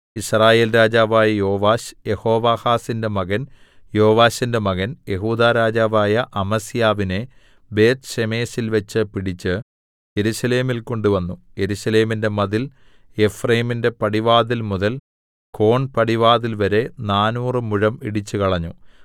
യിസ്രായേൽ രാജാവായ യോവാശ് യെഹോവാഹാസിന്റെ മകൻ യോവാശിന്റെ മകൻ യെഹൂദാ രാജാവായ അമസ്യാവിനെ ബേത്ത്ശേമെശിൽവെച്ച് പിടിച്ച് യെരൂശലേമിൽ കൊണ്ടുവന്നു യെരൂശലേമിന്റെ മതിൽ എഫ്രയീമിന്റെ പടിവാതിൽ മുതൽ കോൺപടിവാതിൽവരെ നാനൂറ് മുഴം ഇടിച്ചുകളഞ്ഞു